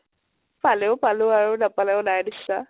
পালেও পালো আৰু নাপালেও নাই নিছিনা ।